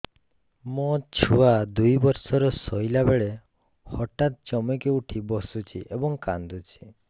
ମୋ ଛୁଆ ଦୁଇ ବର୍ଷର ଶୋଇଲା ବେଳେ ହଠାତ୍ ଚମକି ଉଠି ବସୁଛି ଏବଂ କାଂଦୁଛି